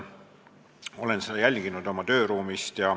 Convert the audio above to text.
Ma jälgisin seda oma tööruumist.